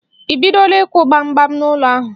I bidola ịkwụ gbam gbam n'ụlọ ahụ?